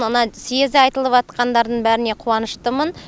оны съезде айтылыватқандардың бәріне қуаныштымын